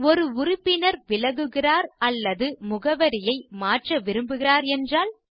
ஒரு உறுப்பினர் விலகுகிறார் அல்லது முகவரியை மாற்ற விரும்புகிறார் என்றால்